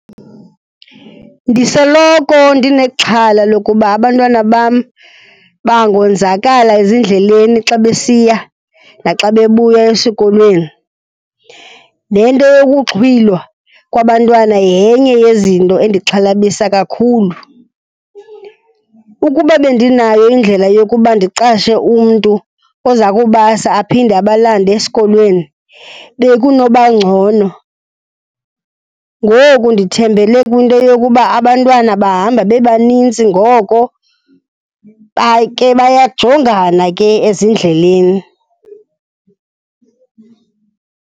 Ndisoloko ndinexhala lokuba abantwana bam bangonzakala ezindleleni xa besiya naxa bebuya esikolweni, nento yokuxhwilwa kwabantwana yenye yezinto endixhalabisa kakhulu. Ukuba bendinayo indlela yokuba ndiqashe umntu oza kubasa aphinde abalande esikolweni, bekunoba ngcono. Ngoku ndithembele kwinto yokuba abantwana bahamba bebanintsi, ngoko ke bayajongana ke ezindleleni.